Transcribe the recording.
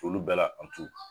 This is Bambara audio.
Olu bɛɛ la.